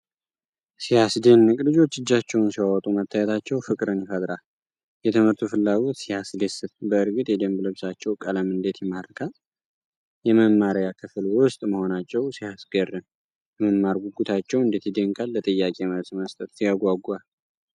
ሲያስደንቅ! ልጆች እጃቸውን ሲያወጡ መታየታቸው ፍቅርን ይፈጥራል! የትምህርቱ ፍላጎት ሲያስደስት! በእርግጥ የደንብ ልብሳቸው ቀለም እንዴት ይማርካል! የመማሪያ ክፍል ውስጥ መሆናቸው ሲያስገርም! የመማር ጉጉታቸው እንዴት ይደነቃል! ለጥያቄ መልስ መስጠት ሲያጓጓ!